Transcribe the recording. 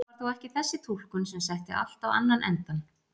Það var þó ekki þessi túlkun sem setti allt á annan endann.